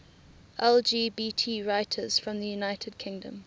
lgbt writers from the united kingdom